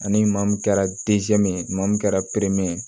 Ani maa min kɛra maa min kɛra ye